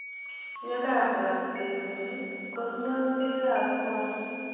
Ye kabwat betuni, konyio pek ab kong'